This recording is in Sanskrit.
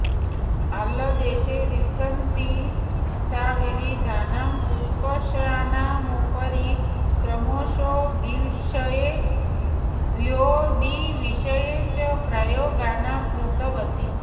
आङ्लदेशे वसन्ती सा विविधानां पुष्पसस्यानामुपरि क्रोमोसोम्विषये प्लाॅयडीविषये च प्रयोगान् कृतवती